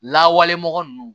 Lawale mɔgɔ ninnu